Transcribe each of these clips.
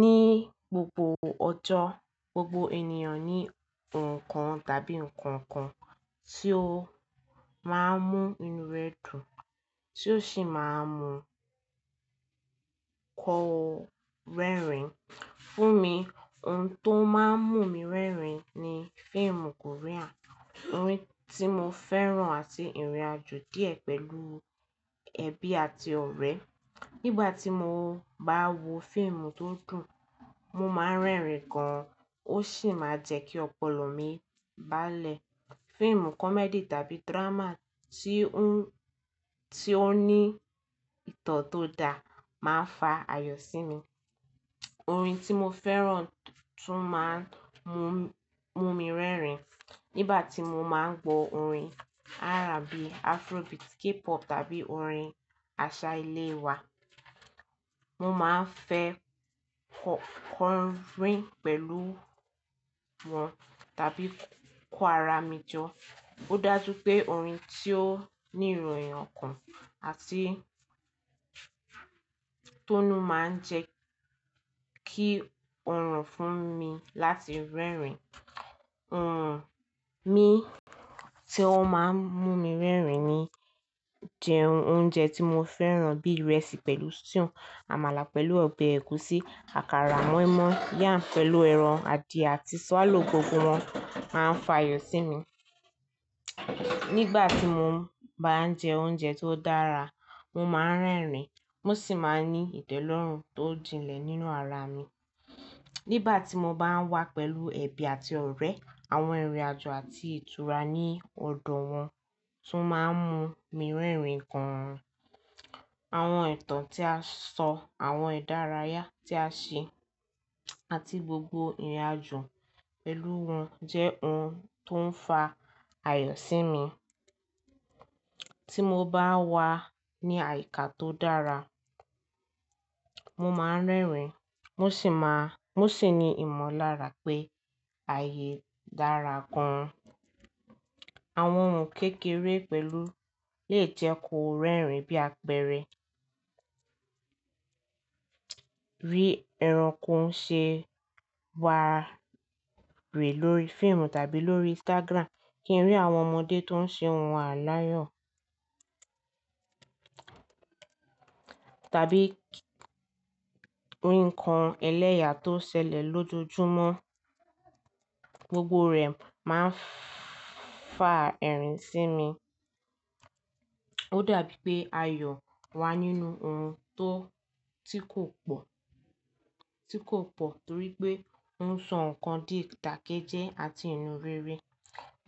Ní gbogbo ọjọ́, gbogbo ènìyàn ní nǹkan tàbí nǹkankan tí ó máa ń mú inú rẹ̀ dùn tí ó sì máa ń mú kọ rẹ́rìn. Fún mi, ohun tó máa ń mú mi rẹ́rìn ni fíìmù Korea, orin tí mo fẹ́ràn àti ìrìnàjò díẹ̀ pẹ̀lú ẹbí àti ọ̀rẹ́. Nígbà tí mo bá n wo fíìmù tó dùn, mo máa ń rẹ́rìn gan, ó sì máa n jẹ́ kí ọpọlọ mi bá lè. Fíìmù comedy tàbí drama tí ó ní ìtàn tó dáa máa ń fa àyò sí mi. Orin tí mo fẹ́ràn tún máa ń mú mi rẹ́rìn. Nígbà tí mo máa ń gbọ orin R&B, Afrobeat, K-pop tàbí orin àṣà ilé wa, mo máa ń fẹ́ kọ orin pẹ̀lú wọn tàbí kó ara mi jọ. Ó dájú pé orin tí ó ní ìròyìn kan àti tó mú máa ń jẹ́ kí ó ràn fún mi láti rẹ́rìn. Ohun mi tí ó máa ń mú mi rẹ́rìn ni jẹ oúnjẹ tí mo fẹ́ràn bí i ìrẹsì pẹ̀lú stew, àmàlà pẹ̀lú ọbẹ̀ ẹ̀gúsí, àkàrà, moinmoin, yam pẹ̀lú ẹran adìẹ àti swallow gbogbo wọn máa ń fa àyò sí mi. Nígbà tí mo bá ń jẹ oúnjẹ tó dára, mo máa ń rẹ́rìn, mo sì máa ń ní ìdẹ́lọ́rùn tó jinlẹ̀ nínú ara mi. Nígbà tí mo bá wà pẹ̀lú ẹbí àti ọ̀rẹ́, àwọn ìrìnàjò àti ìtura ní ọ̀dọ̀ wọn tún máa ń mú mi rẹ́rìn gan. Àwọn ìtàn tí a sọ, àwọn ìdárayá tí a ṣe àti gbogbo ìrìnàjò pẹ̀lú wọn jẹ́ ohun tó ń fa àyò sí mi. Tí mo bá wà ní àyíká tó dára, mo máa ń rẹ́rìn, mo sì máa, mo sì ní ìmọ̀lára pé ààyè dára gan. Àwọn ohun kékeré pẹ̀lú lè jẹ́ kó rẹ́rìn bí àpẹẹrẹ, rí ẹranko ń ṣe wàré lórí fíìmù tàbí lórí Instagram, kí n rí àwọn ọmọdé tó ń ṣe ohun aláyọ̀ tàbí kí n rí nǹkan ẹlẹ́yà tó ṣẹlẹ̀ lójoojúmọ́, gbogbo rẹ̀ máa ń fa ẹ̀rín sí mi. Ó dàbí pé àyò wà nínú ohun tó, tí kò pọ̀, tí kò pọ̀ torí pé ohun sọ nkan di ìdàkejẹ àti inú rere.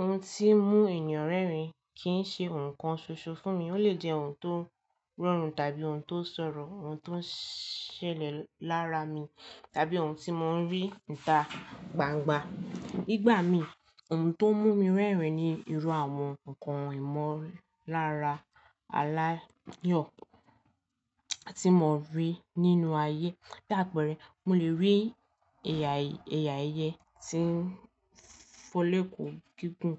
Ohun tí ń mú ènìyàn rẹ́rìn kì í ṣe nǹkan ṣoṣo fún mi, ó lè jẹ́ ohun tó rọrùn tàbí ohun tó ṣòro, ohun tó ń ṣẹlẹ̀ lára mi tàbí ohun tí mo ń rí níta gbangba. Nígbà mi, ohun tó ń mú mi rẹ́rìn ni irú àwọn nǹkan ìmọ̀lára aláyọ̀ tí mo rí nínú ayé. Bí àpẹẹrẹ, mo lè rí ẹ̀yà, ẹ̀yà ayé tí ń fọlé kù gígùn,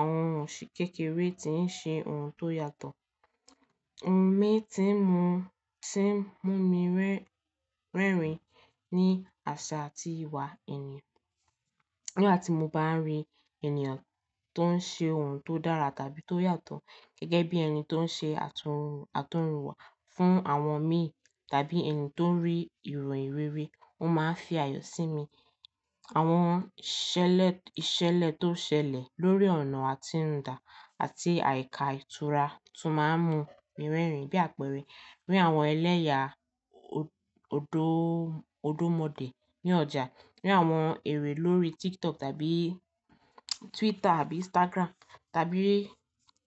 àwọn ohun sì kékeré tí ń ṣe ohun tó yàtọ̀. Ohun mi tí ń mú, tí ń mú mi rẹ́rìn ni àṣà àti ìwà èèyàn. Nígbà tí mo bá ń rí ènìyàn tó ń ṣe ohun tó dára tàbí tó yàtọ̀ gẹ́gẹ́ bí ẹni tó ń ṣe àtọ̀húnrìnwá fún àwọn mi tàbí ẹni tó rí ìròyìn rere, ó máa ń fi àyò sí mi. Àwọn ìṣẹ̀lẹ̀ tó ṣẹlẹ̀ lórí ọ̀nà àtinúdá àti àyíká ìtura tún máa ń mú mi rẹ́rìn. Bí àpẹẹrẹ, rí àwọn ẹlẹ́yà òdó, òdómọdé ní ọjà, rí àwọn eré lórí TikTok tàbí Twitter àbí Instagram tàbí rí,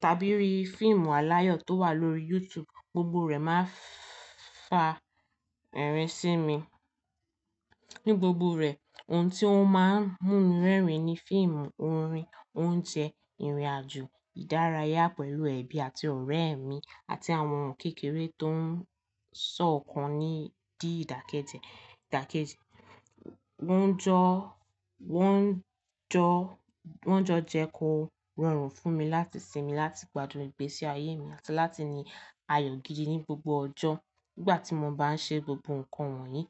tàbí rí fíìmù aláyọ̀ tó wà lórí YouTube, gbogbo rẹ̀ máa ń fa ẹ̀rín sí mi. Ní gbogbo rẹ̀, ohun tí ó máa ń mú mi rẹ́rìn ni fíìmù, orin, oúnjẹ, ìrìnàjò, ìdárayá pẹ̀lú ẹbí àti ọ̀rẹ́ mi àti àwọn ohun kékeré tó ń sọ ọ̀kan di ìdàkejẹ, ìdàkejì. Wọ́n jọ, wọ́n jọ, wọ́n jọ jẹ́ kó rọrùn fún mi láti sinmi, láti gbádùn ìgbésí ayé mi àti láti ní àyò gidi ní gbogbo ọjọ́ nígbà tí mo bá ń ṣe gbogbo nǹkan wọ̀nyí.